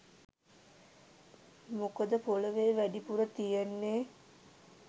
මොකද පොලවේ වැඩිපුර තියෙන්නේ